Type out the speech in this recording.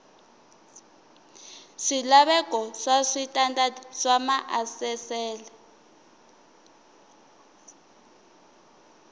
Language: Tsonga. swilaveko swa switandati swa maasesele